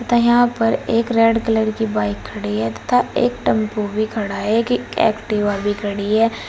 तथा यहां पर एक रेड कलर की बाइक खड़ी है तथा एक टेम्पू भी खड़ा है कि एक्टिवा भी खड़ी है।